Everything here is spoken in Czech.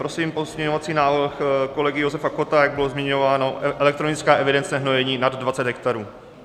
Prosím pozměňovací návrh kolegy Josefa Kotta, jak bylo zmiňováno, elektronická evidence hnojení nad 20 hektarů.